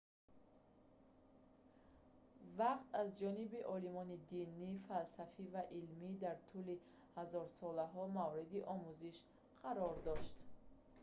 вақт аз ҷониби олимони динӣ фалсафӣ ва илмӣ дар тӯли ҳазорсолаҳо мавриди омӯзиш қарор дошт